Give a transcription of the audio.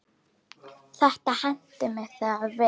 Þetta henti mig þegar við